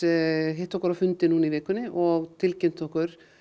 hittu okkur á fundi í vikunni og tilkynntu okkur